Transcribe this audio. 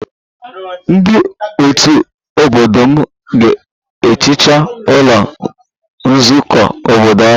Ndị otu obodo m ga-ehicha ụlọ nzukọ obodo ọnụ